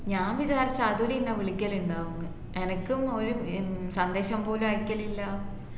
ഞാൻ വിചാരിച് അതുൽ ഇന്നെ വിളിക്കലുണ്ടാവുംന്ന് എനക്കും ഒര് ഏർ സന്ദേശം പോലും അയക്കലി ല്ല